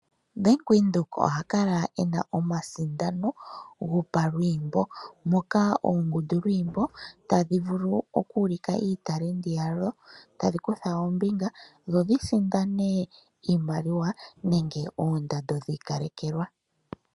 Bank Windheok ohakala ena omasindano gopalwiimbo, moka oongundu lwiimbo tadhi vulu okuulika iitalendi yadho tadhi kutha ombinga dho dhisindane iimaliwa nenge oondando dhiikalekelwa.